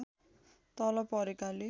तल परेकाले